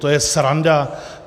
To je sranda.